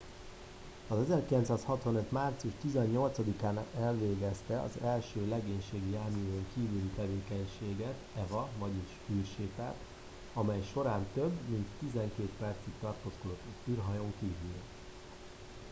"1965. március 18-án elvégezte az első legénységi járművön kívüli tevékenységet eva vagyis "űrsétát" amej során több mint tizenkét percig tartózkodott az űrhajón kívül.